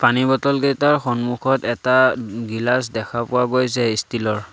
পানী বটল কেইটাৰ সন্মুখত এটা গিলাচ দেখা পোৱা গৈছে ষ্টীল ৰ।